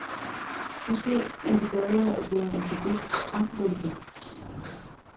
Måske er det bedre at være en bevidst fravælger.